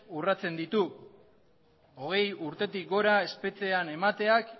urratzen ditu hogei urtetik gora espetxean emateak